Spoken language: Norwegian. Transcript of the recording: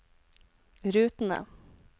rutene